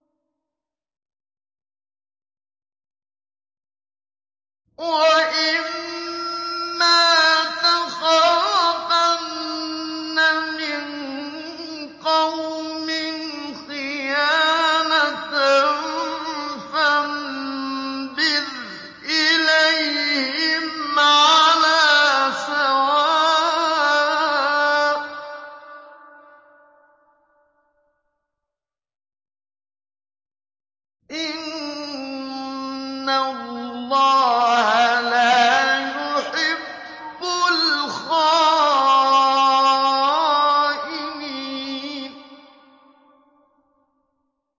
وَإِمَّا تَخَافَنَّ مِن قَوْمٍ خِيَانَةً فَانبِذْ إِلَيْهِمْ عَلَىٰ سَوَاءٍ ۚ إِنَّ اللَّهَ لَا يُحِبُّ الْخَائِنِينَ